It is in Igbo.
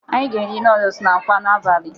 Anyị ga-eri nọọdus na akwa n'abalị.